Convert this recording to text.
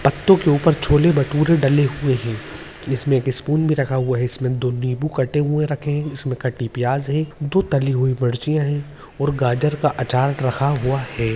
पत्तों के ऊपर छोले-भटूरे डले हुए हैं जिसमें एक स्पून भी रखा हुआ है इसमें दो नींबू कटे हुए रखे हैं इसमें कटी प्याज है दो तली हुई मिर्चिया हैं और गाजर का आचार रखा हुआ है।